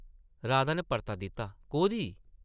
राधा नै परता दित्ता, ‘‘कोह्दी? ’’